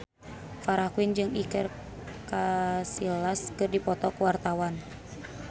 Farah Quinn jeung Iker Casillas keur dipoto ku wartawan